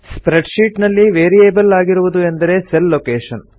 spread sheet ನಲ್ಲಿ variable ಆಗಿರುವುದು ಎಂದರೆ ಸೆಲ್ ಲೊಕೇಶನ್